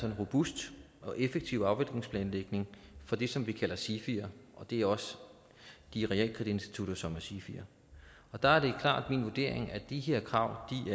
en robust og effektiv afviklingsplanlægning for det som vi kalder sifier og det er også de realkreditinstitutter som er sifier og der er det klart min vurdering at de her krav er